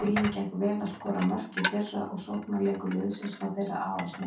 Huginn gekk vel að skora mörk í fyrra og sóknarleikur liðsins var þeirra aðalsmerki.